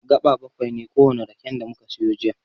Gaɓa baƙwai ne kowane raken da muka siyo jiya.